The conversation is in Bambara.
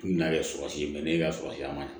N nana kɛ sɔrɔsi ye ne ka sɔrɔ a man ɲɛ